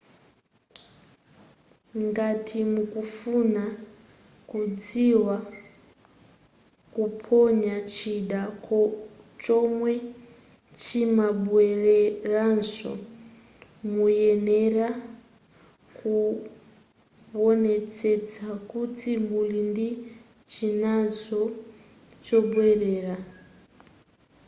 ngati mukufuna kudziwa kuponya chida chomwe chimabweleranso muyenera kuwonetsetsa kuti muli ndi chinanso chobwelera